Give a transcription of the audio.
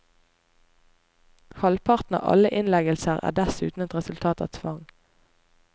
Halvparten av alle innleggelser er dessuten et resultat av tvang.